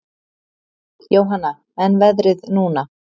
Jóhanna: En veðrið núna?